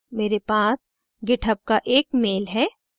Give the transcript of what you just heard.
मेरे पास github का एक email है